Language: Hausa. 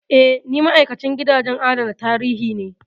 Eh, ni ma'aikacin gidajen adana tarihi ne.